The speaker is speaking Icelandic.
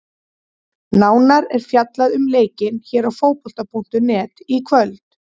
Nánar er fjallað um leikinn hér á Fótbolta.net í kvöld.